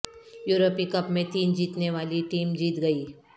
یورپی کپ میں تین جیتنے والی ٹیم جیت گئی